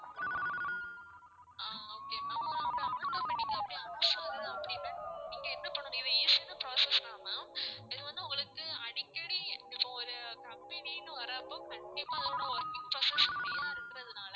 ஆஹ் okay ma'am அப்படி automatic ஆ அப்படி off ஆகுது அப்படின்னா நீங்க என்ன பண்ணனும் இது easy யான process தான் ma'am இது வந்து உங்களுக்கு அடிக்கடி இப்போ ஒரு company ன்னு வர்றப்போ கண்டிப்பா அதோட working process high யா இருக்கிறதுனால